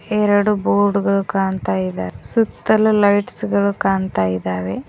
ಎರಡು ಬೋರ್ಡ್ ಗಳು ಕಾಣ್ತಾ ಇದೆ ಸುತ್ತಲು ಲೈಟ್ಸ್ ಗಳು ಕಾಣ್ತಾ ಇದಾವೆ.